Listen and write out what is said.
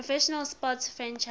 professional sports franchise